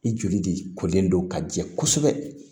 I joli de kolen don ka jɛ kosɛbɛ